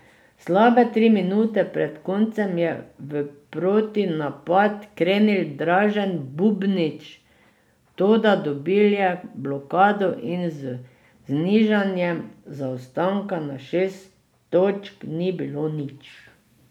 Slabe tri minute pred koncem je v protinapad krenil Dražen Bubnić, toda dobil je blokado in z znižanjem zaostanka na šest točk ni bilo nič.